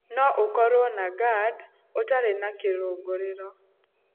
No ũkorwo na gerd ũtarĩ na kĩrũngũrĩro.